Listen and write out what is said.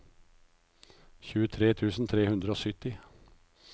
tjuetre tusen tre hundre og sytti